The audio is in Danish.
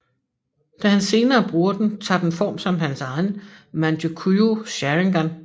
Da han senere bruger den tager den form som hans egen Mangekyo Sharingan